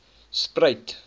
spruit